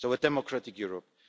So a democratic Europe.